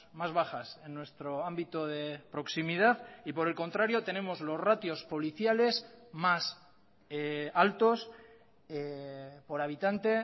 más bajas en nuestro ámbito de proximidad y por el contrario tenemos los ratios policiales más altos por habitante